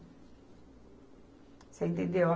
Você entendeu?